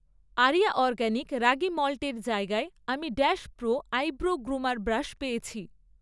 area organic ragi মল্টের জায়গায়, আমি dash pro eyebrow groomer brush পেয়েছি